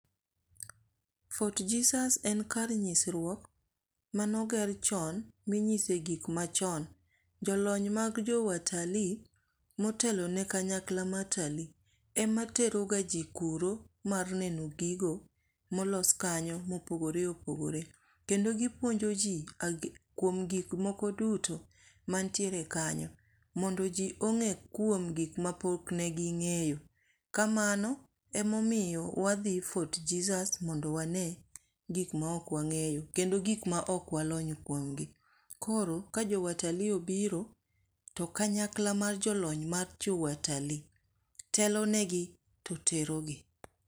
Fort Jesus en kar nyisruok manoger chon minyise gik machon. Jo lony mag jo watalii motelo ne kanyakla mar utalii ema tero ga ji kuro mar neno gigo molos kanyo mopogore opogore. Kendo gipuonjo ji kuom gik moko duto mantiere kanyo. Mondo ji ong'e kuom gik mapok ne ging'eyo. Kamano, emomiyo wadhi Fort Jesus mondo wane gik ma ok wang'eyo kendo gik ma ok walony kuom gi. Koro ka jo watalii obiro, to kanyakla mar jolony mar jo watalii telone gi to terogi.